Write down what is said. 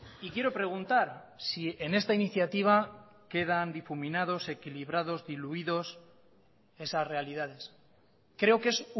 y quiero preguntar si en esta iniciativa quedan difuminados equilibrados diluidos esas realidades creo que es